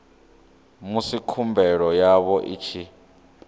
musi khumbelo yavho i tshi